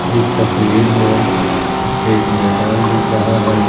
इस तस्वीर में एक मैदान दिख रहा है।